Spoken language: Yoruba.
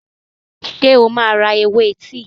Ṣé o máa ra ewé tíì?